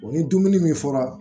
O ni dumuni min fɔra